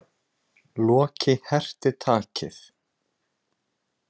Loki herti takið.